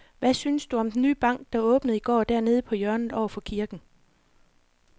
Hvad synes du om den nye bank, der åbnede i går dernede på hjørnet over for kirken?